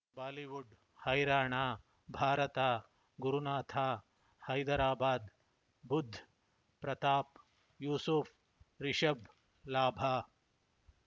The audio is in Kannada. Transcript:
ಬಾಲಿವುಡ್ ಹೈರಾಣ ಭಾರತ ಗುರುನಾಥ ಹೈದರಾಬಾದ್ ಬುಧ್ ಪ್ರತಾಪ್ ಯೂಸುಫ್ ರಿಷಬ್ ಲಾಭ